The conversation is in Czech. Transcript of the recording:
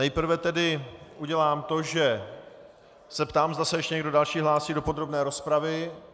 Nejprve tedy udělám to, že se zeptám, zda se ještě někdo další hlásí do podrobné rozpravy.